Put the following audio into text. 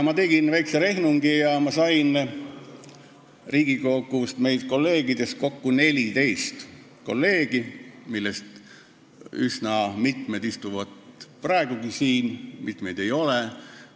Ma tegin väikse rehnungi ja sain meilt Riigikogust kokku 14 kolleegi, kellest üsna mitu istuvad praegugi siin, mitut ei ole.